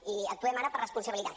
i actuem ara per responsabilitat